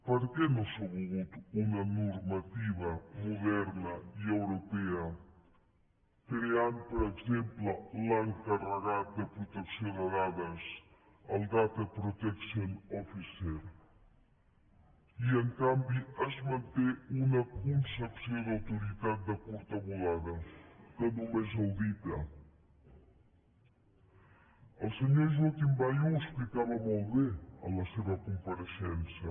per què no s’ha volgut una normativa moderna i europea creant per exemple l’encarregat de protecció de dades el data protection officer i en canvi es manté una concepció d’autoritat de curta volada que només audita el senyor joaquim bayo ho explicava molt bé en la seva compareixença